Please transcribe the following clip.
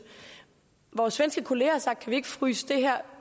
vores svenske kollegaer har sagt kan vi ikke fryse det her